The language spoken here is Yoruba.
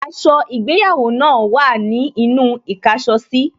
Aṣọ ìgbéyàwó náà wà ní inú īkáso sí